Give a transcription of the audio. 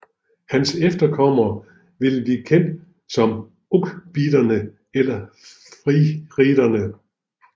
Hans efterkommere ville blive kendt som ʿUqbiderne eller Fihriderne